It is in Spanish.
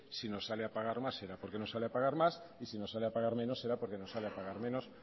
si nos sale a pagar más será porque nos sale a pagar más y si nos sale a pagar menos será porque nos sale a pagar menos